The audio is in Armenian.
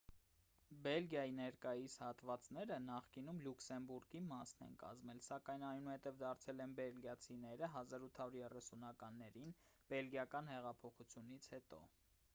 բելգիայի ներկայիս հատվածները նախկինում լյուքսեմբուրգի մասն են կազմել սակայն այնուհետև դարձել են բելիգիացիներինը 1830-ականներին բելգիական հեղափոխությունից հետո